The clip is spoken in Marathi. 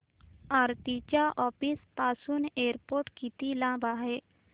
आरती च्या ऑफिस पासून एअरपोर्ट किती लांब आहे